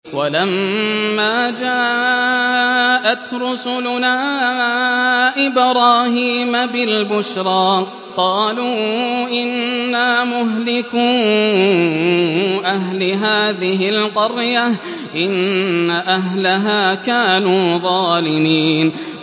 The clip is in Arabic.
وَلَمَّا جَاءَتْ رُسُلُنَا إِبْرَاهِيمَ بِالْبُشْرَىٰ قَالُوا إِنَّا مُهْلِكُو أَهْلِ هَٰذِهِ الْقَرْيَةِ ۖ إِنَّ أَهْلَهَا كَانُوا ظَالِمِينَ